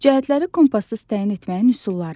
Cəhətləri kompassız təyin etməyin üsulları.